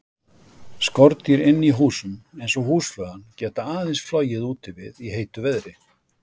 Skordýr inni í húsum, eins og húsflugan, geta aðeins flogið úti við í heitu veðri.